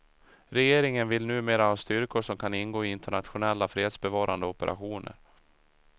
Regeringen vill numera ha styrkor som kan ingå i internationella fredsbevarande operationer.